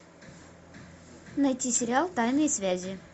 найти сериал тайные связи